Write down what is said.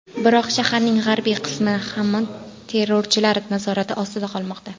Biroq shaharning g‘arbiy qismi hamon terrorchilar nazorati ostida qolmoqda.